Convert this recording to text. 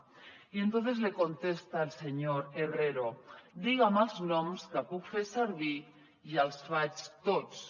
y entonces le contesta el señor herrero diga’m els noms que puc fer servir i els faig tots